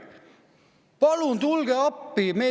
"Palun tulge appi!